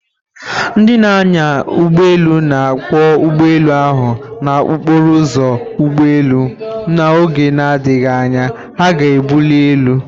Ndị na-anya ụgbọ elu na-akwọ ụgbọ elu ahụ na okporo ụzọ ugbo elu, na oge na-adịghị anya, ha ga-ebuli elu